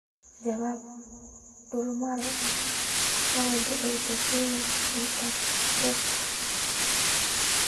Jawaab: Dulmar mawduuceed EdTech Hub.